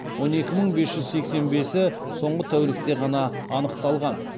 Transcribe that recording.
он екі мың бес жүз сексен бесі соңғы тәулікте ғана анықталған